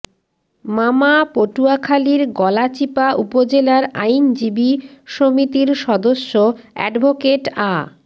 মামা পটুয়াখালীর গলাচিপা উপজেলার আইনজীবী সমিতির সদস্য অ্যাডভোকেট আ